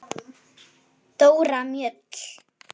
Dóra Mjöll.